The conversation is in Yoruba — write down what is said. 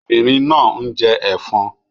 Obìnrin náà ń jẹ ẹ̀fọn